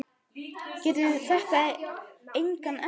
Tekur þetta engan enda?